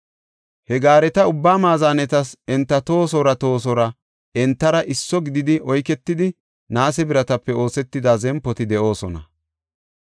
He gaareta ubbaa maazanetas enta tohosoora tohosoora entara isso gididi oyketida naase biratape oosetida zempoti de7oosona.